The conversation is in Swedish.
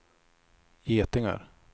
getingar